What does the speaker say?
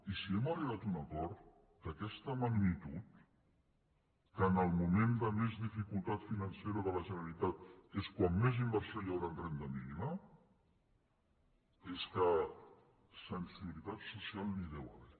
i si hem arribat a un acord d’aquesta magnitud que en el moment de més dificultat financera de la generalitat és quan més inversió hi haurà en renda mínima és que de sensibilitat social n’hi deu haver